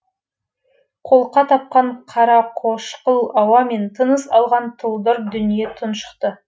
қолқа қапқан қарақошқыл ауамен тыныс алған тұлдыр дүние тұншықты